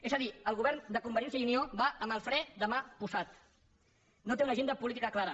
és a dir el govern de convergència i unió va amb el fre de mà posat no té una agenda política clara